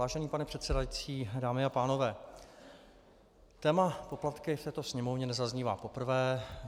Vážený pane předsedající, dámy a pánové, téma poplatky v této Sněmovně nezaznívá poprvé.